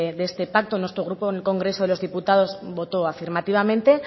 de este pacto nuestro grupo en el congreso de los diputados votó afirmativamente